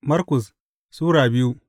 Markus Sura biyu